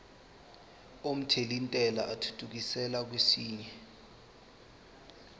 omthelintela athuthukiselwa kwesinye